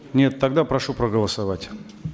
нет тогда прошу проголосовать